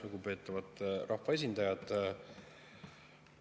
Lugupeetavad rahvaesindajad!